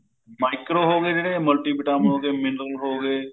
micro ਹੋ ਗਏ ਜਿਹੜੇ multi vitamin ਹੋ ਗਏ mineral ਹੋ ਗਏ